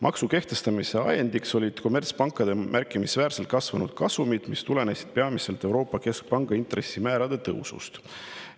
Maksu kehtestamise ajendiks olid kommertspankade märkimisväärselt kasvanud kasumid, mis tulenesid peamiselt Euroopa Keskpanga intressimäärade tõusust.